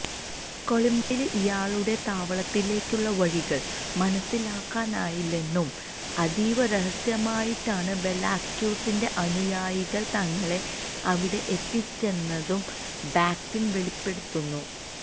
കൊളംബിയയിലെ ഇയാളുടെ താവളത്തിലേക്കുള്ള വഴികൾ മനസിലാക്കാനായില്ലെന്നും അതീവ രഹസ്യമായിട്ടാണ് വെലാസ്ക്യൂസിന്റെ അനുയായികൾ തങ്ങളെ അവിടെ എത്തിച്ചതെന്നും ബക്ക്ടിൻ വെളിപ്പെടുത്തുന്നു